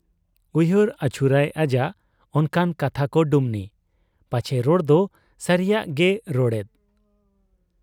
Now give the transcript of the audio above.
ᱩᱭᱦᱟᱹᱨ ᱟᱹᱪᱩᱨᱟᱭ ᱟᱡᱟᱜ ᱚᱱᱠᱟᱱ ᱠᱟᱛᱷᱟᱠᱚ ᱰᱩᱢᱱᱤ ᱾ ᱯᱟᱪᱷᱮ ᱨᱚᱲᱫᱚ ᱥᱟᱹᱨᱤᱭᱟᱜ ᱜᱮᱭ ᱨᱚᱲᱮᱫ ?